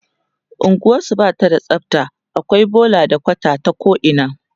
unguwarsu Bata da tsafta akwai bola da kwata ta ko ina